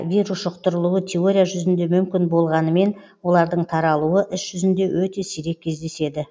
вирус жүқтырылуы теория жүзінде мүмкін болғанымен олардың таралуы іс жүзінде өте сирек кездеседі